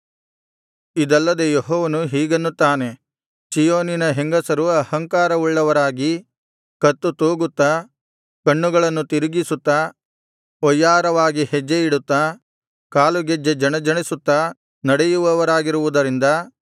ಇದಲ್ಲದೆ ಯೆಹೋವನು ಹೀಗನ್ನುತ್ತಾನೆ ಚೀಯೋನಿನ ಹೆಂಗಸರು ಅಹಂಕಾರವುಳ್ಳವರಾಗಿ ಕತ್ತು ತೂಗುತ್ತಾ ಕಣ್ಣುಗಳನ್ನು ತಿರುಗಿಸುತ್ತಾ ವಯ್ಯಾರವಾಗಿ ಹೆಜ್ಜೆ ಇಡುತ್ತಾ ಕಾಲು ಗೆಜ್ಜೆ ಜಣಜಣಿಸುತ್ತಾ ನಡೆಯುವವರಾಗಿರುವುದರಿಂದ